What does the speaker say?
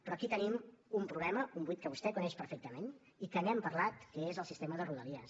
però aquí tenim un problema un buit que vostè coneix perfectament i que n’hem parlat que és el sistema de rodalies